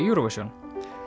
Eurovision